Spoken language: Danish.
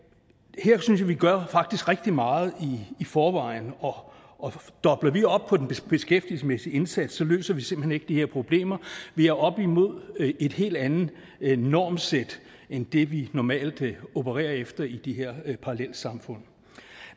her synes at vi gør rigtig meget i forvejen og dobler vi op på den beskæftigelsesmæssige indsats løser vi simpelt hen ikke de her problemer vi er oppe imod et helt andet normsæt end det vi normalt opererer efter i de her parallelsamfund